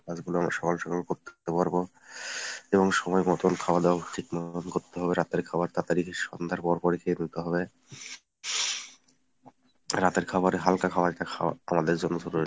কাজগুলো আমরা সকাল সকাল করতে পারবো এবং সময়মতো খাওয়াদাওয়া ঠিক মতোন করতে হবে; রাতের খাবার তাড়াতাড়ি সন্ধ্যার পরপরই খেয়ে ফেলতে হবে। রাতের খাবারে হালকা খাওয়া যেটা খাওয়া আমাদের জন্য জরুরি।